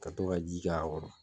Ka to ka jija k'a kɔrɔ.